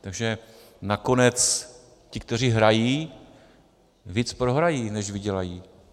Takže nakonec ti, kteří hrají, víc prohrají, než vydělají.